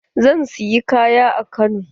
Zan siyi kaya a Kano.